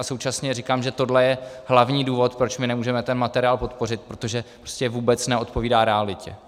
A současně říkám, že tohle je hlavní důvod, proč my nemůžeme ten materiál podpořit, protože prostě vůbec neodpovídá realitě.